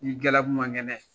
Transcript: N'i galabu man kɛnɛ